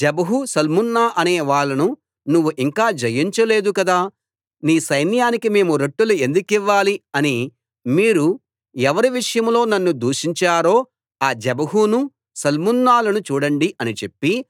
జెబహు సల్మున్నా అనేవాళ్ళను నువ్వు ఇంకా జయించలేదు కదా నీ సైన్యానికి మేము రొట్టెలు ఎందుకివ్వాలి అని మీరు ఎవరి విషయంలో నన్ను దూషించారో ఆ జెబహును సల్మున్నాలను చూడండి అని చెప్పి